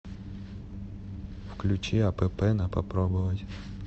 включи апп на попробовать